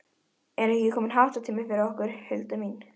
Er ekki kominn háttatími fyrir okkur, Hulda mín?